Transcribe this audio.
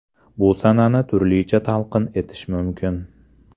Bu sanani turlicha talqin etish mumkin!